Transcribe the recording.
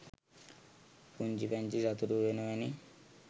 පුංචි පැංචි සතුටු උයන වැනි